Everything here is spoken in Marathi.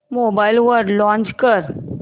मोबाईल वर लॉंच कर